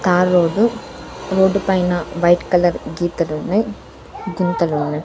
Tar road రోడ్డుపైన white colour గీతలున్నాయి గుంతలు ఉన్నాయి.